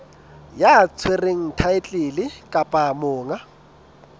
ya tshwereng thaetlele kapa monga